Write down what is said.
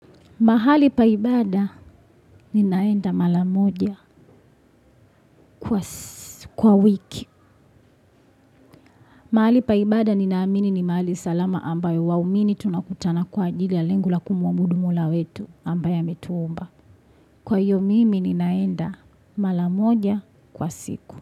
Mahali pa ibada ninaenda mara moja kwa wiki. Mahali pa ibada ninaamini ni mahali salama ambayo waumini tunakutana kwa ajili ya lengo la kumwabudu Mola wetu ambaye ametuumba. Kwa iyo mimi ninaenda mara moja kwa siku.